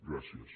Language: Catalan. gràcies